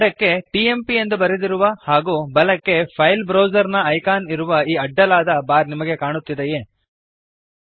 ಎಡಕ್ಕೆ ಟಿಎಂಪಿ ಎಂದು ಬರೆದಿರುವ ಹಾಗೂ ಬಲಕ್ಕೆ ಫೈಲ್ ಬ್ರೌಜರ್ ನ ಐಕಾನ್ ಇರುವ ಈ ಅಡ್ಡಲಾದ ಬಾರ್ ನಿಮಗೆ ಕಾಣುತ್ತಿದೆಯೇ160